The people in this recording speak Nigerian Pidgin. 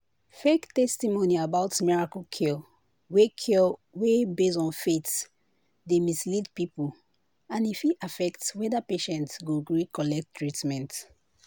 fake testimony about miracle cure wey cure wey base on faith dey mislead people and e fit affect whether patient go gree collect treatment.